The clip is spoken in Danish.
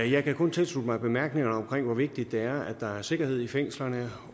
jeg kan kun tilslutte mig bemærkningerne om hvor vigtigt det er at der er sikkerhed i fængslerne